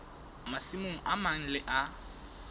masimong a mang le a